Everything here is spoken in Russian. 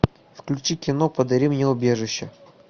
включи кино подари мне убежище